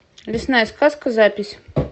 лесная сказка запись